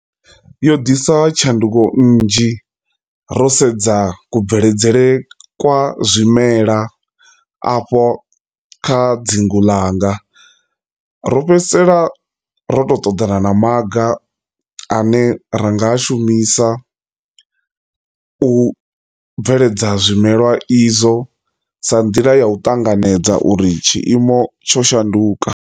Yo ḓisa tshanduko nnzhi ro sedza kubveledzele kwa zwimela afho kha dzingu langa ro fhedzisela ṱoḓana na maga ane ra nga shumisa u bveledza zwimelwa izwo sa nḓila ya u ṱanganedza uri tshiimo tsho shanduka.